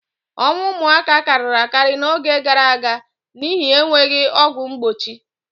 Ọnwụ ụmụaka karịrị akarị n'oge gaara aga n'ihi enweghị ọgwụ mgbochi.